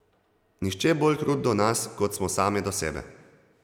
Nihče bolj krut do nas, kot smo same do sebe.